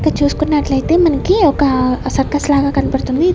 ఇక చూసుకున్నట్లయితే మనకి ఒకా సర్కస్ లాగా కనపడ్తుంది.